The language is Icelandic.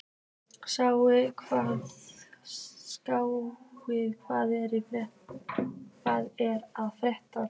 Skaði, hvað er að frétta?